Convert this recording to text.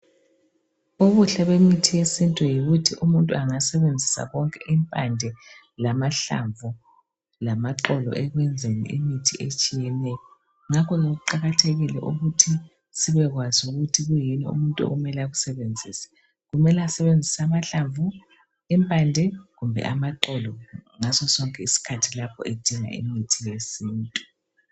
Ubuhle bemithi yesintu yikuthi umuntu engasebenzisa konke impande, lamahlamvu lamaxolo ekwenzeni imithi etshiyeneyo. Ngakho ke kuqakathekile ukuthi sibekwazi ukuthi kuyini umuntu okumele akusebenzise. Kumele asebenzise amahlamvu, impande kumbe amaxolo ngaso sonke isikhathi lapho edinga imithi yesintu.